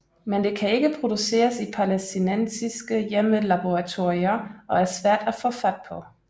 Men det kan ikke produceres i palæstinensiske hjemmelaboratorier og er svært at få fat på